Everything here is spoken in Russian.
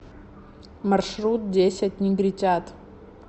маршрут десять негритят